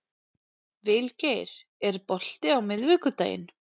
Vilgeir, er bolti á miðvikudaginn?